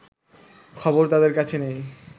খবর তাদের কাছে নেই